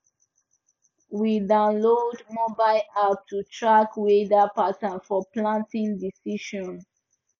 we download mobile app to track weather pattern for planting decision